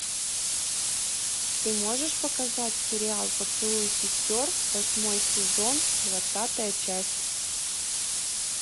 ты можешь показать сериал поцелуй сестер восьмой сезон двадцатая часть